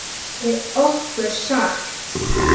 Er okkur sagt.